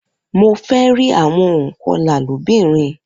Mo fẹ rí àwọn ònkọlà lóbìnrin